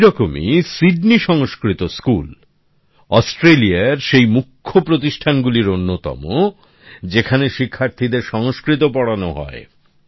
ঠিক সেরকমই Sydney Sanskrit school অস্ট্রেলিয়ার সেই মুখ্য প্রতিষ্ঠানগুলির অন্যতম যেখানে শিক্ষার্থীদের সংস্কৃত পড়ান হয়